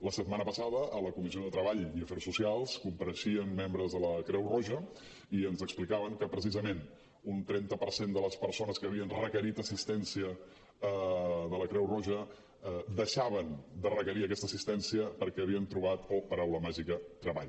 la setmana passada a la comissió de treball i afers socials compareixien membres de la creu roja i ens explicaven que precisament un trenta per cent de les persones que havien requerit assistència de la creu roja deixaven de requerir aquesta assistència perquè havien trobat oh paraula màgica treball